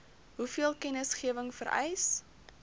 hoeveel kennisgewing vereis